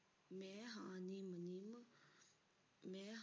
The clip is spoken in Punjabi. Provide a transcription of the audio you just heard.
ਮੈਂ ਹਾਂ